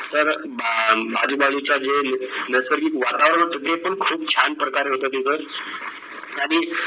तर अं आजूबाजूच्या जे नैसर्गिक वातावरण होत. ते पण खूप छान प्रकारे होतं तिथं आणि